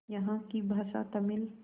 यहाँ की भाषा तमिल